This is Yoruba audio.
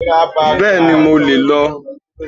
Bẹ́ẹ̀ni, mo lè lọ